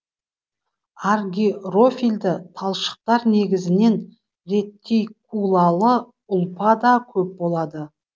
аргирофилді талшықтар негізінен ретикулалы ұлпада көп болады